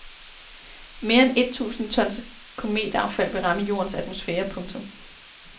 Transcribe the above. Mere end et tusind tons kometaffald vil ramme jordens atmosfære. punktum